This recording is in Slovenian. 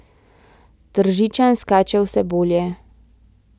Tržičan skače vse bolje.